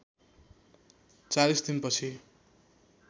४० दिन पछि